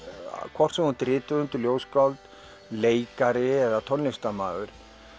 hvort sem þú ert rithöfundur ljóðskáld leikari eða tónlistarmaður